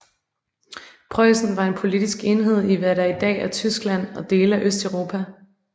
Preussen var en politisk enhed i hvad der i dag er Tyskland og dele af Østeuropa